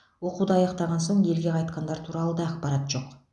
оқуды аяқтаған соң елге қайтқандар туралы да ақпарат жоқ